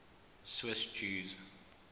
swiss jews